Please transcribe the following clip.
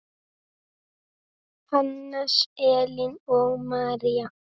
Hannes, Elín og María.